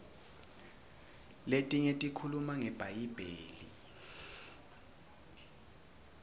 letinye tikhuluma ngebhayibheli